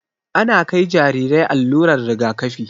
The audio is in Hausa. Ana kai Jarirai allurar rigakafi